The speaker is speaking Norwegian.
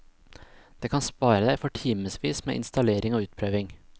Det kan spare deg for timesvis med installering og utprøving.